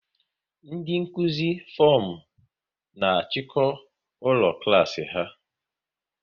Ndị Nkụzi fomu na achiko ụlọ klas ha